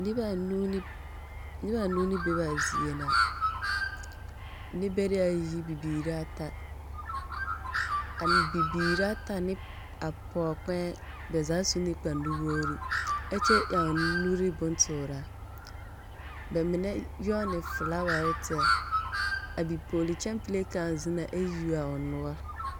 Nebɛɛa nuu ne nebeanuu ne be bɛa zie na. Nebɛrɛayi bibiiraata an bibiiraata neg a pɔɔ kpɛɛŋ bɛ zaa su ne kpanuwoore, ɛ kyɛ ɛoŋ nuri bontoora bɛmenɛ nyɔɔne felaaware tɛr. A bipɔɔlikyampile kão zena ɛ yuoa o noɔr.